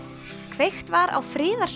kveikt var á